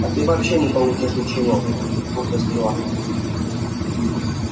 а ты вообще не получишь ничего усмехнулся стюарт